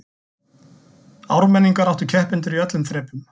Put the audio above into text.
Ármenningar áttu keppendur í öllum þrepum